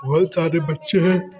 सारे बच्चे है।